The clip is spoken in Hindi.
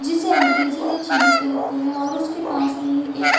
जिसे अंग्रेजी में चिली कहते है और उसके पास में ही एक --